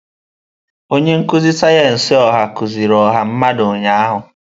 Onye nkuzi sayensị ọha kuziri ọha mmadụ ụnyahụ.